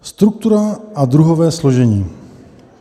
Struktura a druhové složení.